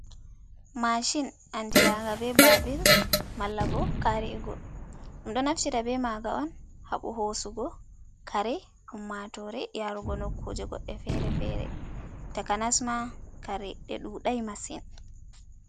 Mashin, andiraaga be baabir malla bo kaarigo. Ɗum ɗo naftira be maaga on haɓu hosugo kare ummaatore, yaarugo nukkuje goɗɗe fere-fere. Takanasma kare ɗe ɗuɗai masin.